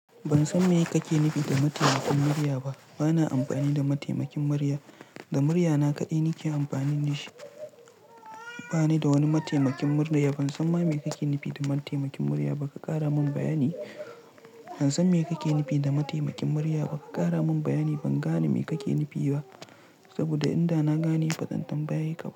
Ban san me kake nufi da mataimakin murya ba. Bana amfani da mataimakin murya. Da muryana kaɗai nike amfani da shi. Bani da wani mataimakin murya. Ban san ma me kake nufi da mataimakin murya ba. Ka ƙara mun bayani. Ban san me kake nufi da mataimakin murya ba. Ka ƙara mun bayani. Ban gane me kake nufi ba. Saboda in da na gane bazan tambaye ka.